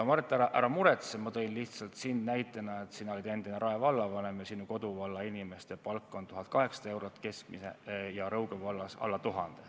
Mart, ära muretse, ma tõin sind näitena, et sina oled endine Rae vallavanem ja sinu koduvalla inimeste keskmine palk on 1800 eurot, aga Rõuge vallas on see alla 1000.